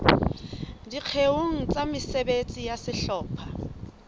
dikgeong tsa mesebetsi ya sehlopha